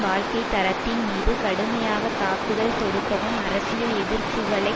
வாழ்க்கை தரத்தின் மீது கடுமையாக தாக்குதல் தொடுக்கவும் அரசியல் எதிர்ப்புக்களை